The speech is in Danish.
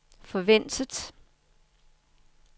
forventet